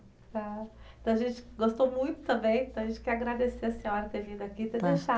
Tá. Então a gente gostou muito também, então a gente quer agradecer a senhora ter vindo aqui e ter